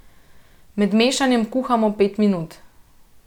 Med mešanjem kuhamo pet minut.